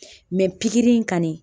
pikiri in kani